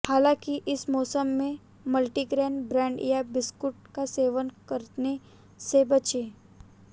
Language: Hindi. हालांकि इस मौसम में मल्टीग्रेन ब्रेड या बिस्कुट का सेवन करने से बचें